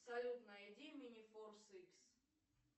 салют найди минифорс икс